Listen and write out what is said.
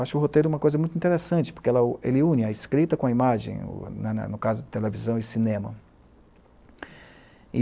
Acho o roteiro uma coisa muito interessante, porque ele une a escrita com a imagem, no caso de televisão e cinema.